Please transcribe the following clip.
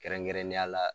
Kɛrɛnkɛrɛnnenya la